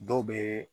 Dɔw bɛ